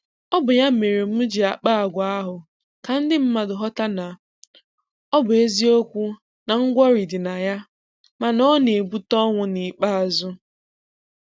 Ọ bụ ya mere m ji kpaa agwa ahụ ka ndị mmadụ ghọta na ọ bụ eziokwu na ngwọrị dị na ya, mana na ọ na-ebute ọnwụ n’ikpeazụ.